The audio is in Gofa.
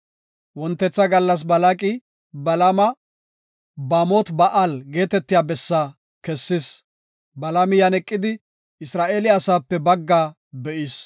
Wontetha gallas Balaaqi Balaama Baamot-Ba7aali geetetiya bessa kessis; Balaami yan eqidi Isra7eele asape baggaa be7is.